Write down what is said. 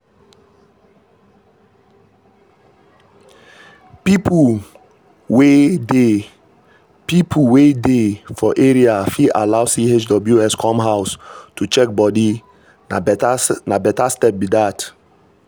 people wey dey people wey dey for area fit allow chws come house to check body na better step be dat.